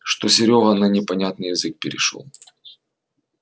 что серёга на непонятный язык перешёл